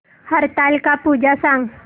हरतालिका पूजा सांग